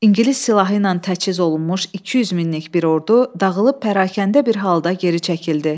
İngilis silahı ilə təchiz olunmuş 200 minlik bir ordu dağılıb pərakəndə bir halda geri çəkildi.